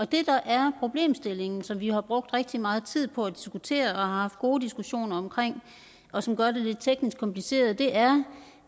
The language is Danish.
det der er problemstillingen som vi har brugt rigtig meget tid på at diskutere og har haft gode diskussioner om og som gør det lidt teknisk kompliceret er